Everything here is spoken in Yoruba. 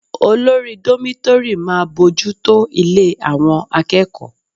Olórí dómítórì máa bójú tó ilé àwọn akẹ́kọ̀ọ́